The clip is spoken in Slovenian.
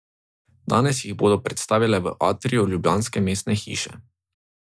Danes jih bodo predstavile v atriju ljubljanske mestne hiše.